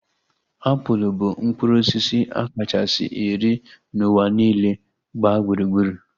Apụl bụ mkpụrụ osisi a kachasị eri n'ụwa niile gbaa gburugburu